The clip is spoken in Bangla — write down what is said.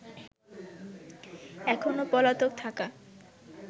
এখনো পলাতক থাকা